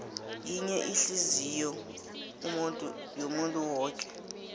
yinye ihliziyou yomuntu woke